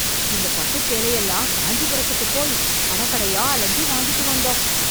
இந்த பட்டுச் சேலையெல்லாம் காஞ்சிபுரத்துக்கு போய் கடை கடையா அலைஞ்சு, வாங்கிட்டு வந்தோம்..